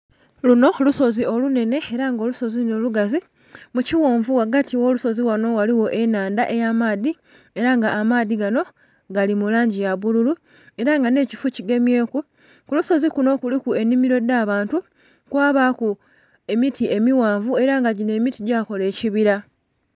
Lunho lusozi olunhenhe era nga olusozi lunho lugazi mukighonvu ghati ogho lusozi lunho ghaligho ennhandha ey'amaadhi era nga amaadhi ganho gali mulangi ya bululu era nga nhekifo kigemyeku, kulusozi kunho kuliku enhimilo edh'abantu kwabaku emiti emighanvu era nga ginho emiti gyakala ekibila.